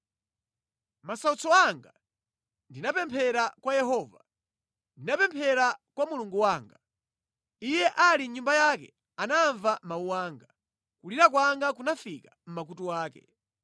“Mʼmasautso anga ndinapemphera kwa Yehova; ndinapemphera kwa Mulungu wanga. Iye ali mʼnyumba yake, anamva mawu anga; kulira kwanga kunafika mʼmakutu ake.